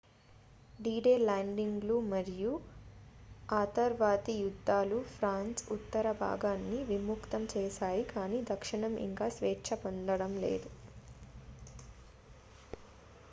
D Day ల్యాండింగ్లు మరియు ఆతర్వాతి యుద్ధాలు ఫ్రాన్స్ ఉత్తరభాగాన్ని విముక్తం చేశాయి కానీ దక్షిణం ఇంకా స్వేచ్ఛా పొంద లేదు